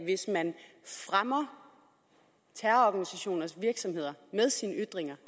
hvis man fremmer terrororganisationers virksomhed med sine ytringer